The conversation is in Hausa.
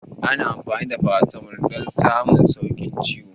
Ana amfani da farasitamol don samun sauƙin ciwon